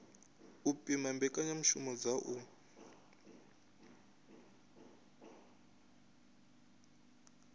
u pima mbekanyamishumo dza u